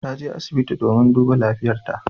Ta je asibiti domin a duba lafiyartan ta.